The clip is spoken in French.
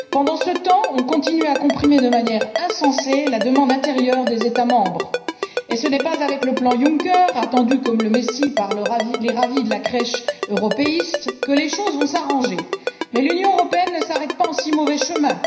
Pendant ce temps, on continue à comprimer de manière insensée la demande intérieure des États membres, et ce n'est pas avec le plan Juncker, attendu comme le messie par les ravis de la crèche européiste, que les choses vont s'arranger. Mais l'Union européenne ne s'arrête pas en si mauvais chemin.